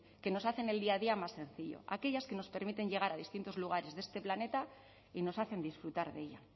que nos hacen el día a día más sencillo aquellas que nos permiten llegar a distintos lugares de este planeta y nos hacen disfrutar de ello